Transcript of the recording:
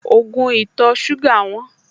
Ògùn ìtọ̀-ṣúgà wọ́n